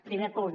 primer punt